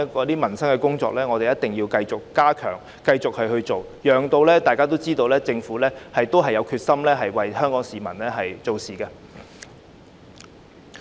司長，我認為一定要繼續加強處理民生工作，讓大家知道政府仍然有決心為香港市民做事。